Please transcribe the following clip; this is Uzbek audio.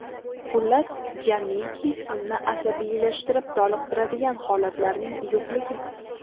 Xullas, jamiki sizni asabiylashtirib toliqtiradigan holatlarning yo‘qligi.